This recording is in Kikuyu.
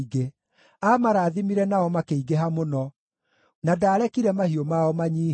aamarathimire nao makĩingĩha mũno, na ndaarekire mahiũ mao manyiihe.